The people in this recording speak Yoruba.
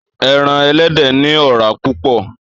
Èràn èlèdè ni òràá púpò